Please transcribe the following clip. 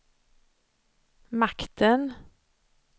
makten